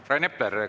Aitäh!